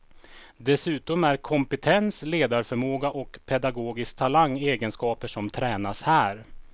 Dessutom är kompetens, ledarförmåga och pedagogisk talang egenskaper som tränas här.